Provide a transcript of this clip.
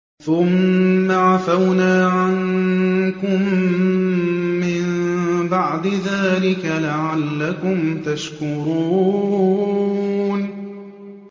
ثُمَّ عَفَوْنَا عَنكُم مِّن بَعْدِ ذَٰلِكَ لَعَلَّكُمْ تَشْكُرُونَ